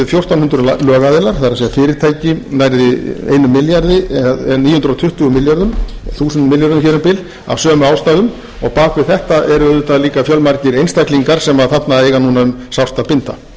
fjórtán hundruð lögaðilar það er fyrirtæki nærri einum milljarði eða níu hundruð tuttugu milljörðum þúsundum milljörðum hér um bil af sömu ástæðum og bak við þetta eru auðvitað líka fjölmargir einstaklingar sem þarna eiga um sárt að binda það er athyglisvert að í þessum hópi